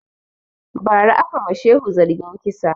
Ba ra aka ma shehu zargin kisa